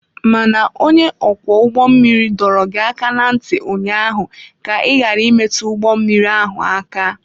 Mana onye ọkwọ ụgbọ mmiri dọrọ gị aka ná ntị ụnyaahụ ka ị ghara imetụ ụgbọ mmiri ahụ aka!